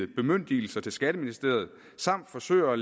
bemyndigelser til skatteministeriet samt forsøger